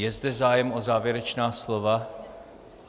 Je zde zájem o závěrečná slova?